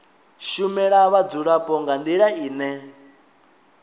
shumela vhadzulapo nga ndila ine